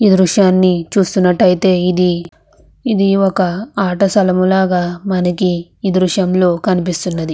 ఈ దృశ్యాన్ని చూస్తున్నటైతే ఇది ఇది ఒక అట స్థలము లాగా ఈ దృశ్యం లో మనకి కనిపిస్తుంది .